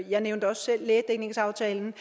jeg nævnte også selv lægedækningsaftalen